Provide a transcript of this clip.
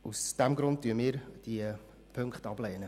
Aus diesem Grund lehnen wir beide Ziffern ab.